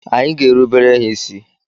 Anyị ga-erubere ha isi.